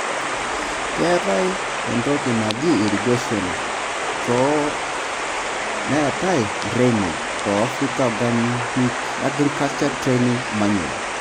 Keetae entoki naji Irrigation too( irpaipi) neetae Drainage o African Organic Agriculture Training Manual.